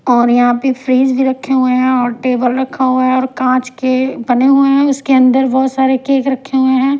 और यहां पे फ्रिज भी रखे हुए हैं और टेबल रखा हुआ है और कांच के बने हुए हैं उसके अंदर बहुत सारे केक रखे हुए हैं।